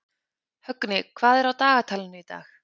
Högni, hvað er á dagatalinu í dag?